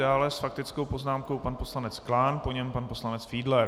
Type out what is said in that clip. Dále s faktickou poznámkou pan poslanec Klán, po něm pan poslanec Fiedler.